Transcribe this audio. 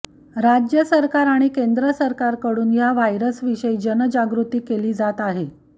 राज्य सरकार आणि केंद्र सरकारकडून या व्हायरसविषयी जनजागृती केली जात आहे